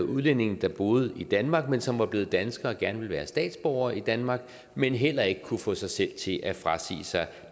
udlændinge der boede i danmark men som var blevet danskere og gerne ville være statsborgere i danmark men heller ikke kunne få sig selv til at frasige sig